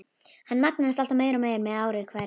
Hann magnaðist alltaf meir og meir með ári hverju.